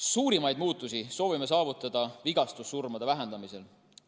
Suurimaid muutusi soovime saavutada vigastussurmade vähendamisel.